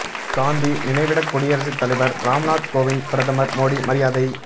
காந்தி நினைவிடத் குடியரசு தலைவர் ராம்நாத் கோவிந்த் பிரதமர் மோடி மரியாதை